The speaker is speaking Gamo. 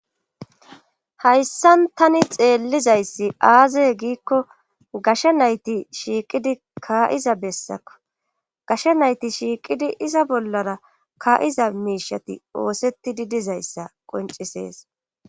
Hayssan tani xeellizayssi aazeye giikko gasha nayti shiiqidi kaa7iza bessakko gasha nayti shiiqidi iza bollara kaa7iza miishati oosetti didizayssa qoncisees